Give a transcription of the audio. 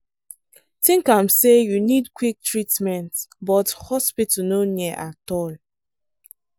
think am say you need quick treatment but hospital no near at all.